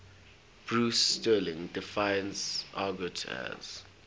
bruce sterling defines argot as